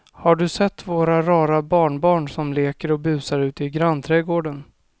Har du sett våra rara barnbarn som leker och busar ute i grannträdgården!